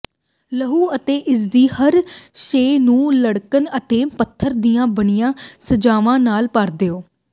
ਲਹੂ ਅਤੇ ਇਸਦੀ ਹਰ ਸ਼ੈਅ ਨੂੰ ਲੱਕੜ ਅਤੇ ਪੱਥਰ ਦੀਆਂ ਬਣੀਆਂ ਸਜਾਵਾਂ ਨਾਲ ਭਰ ਦਿਓ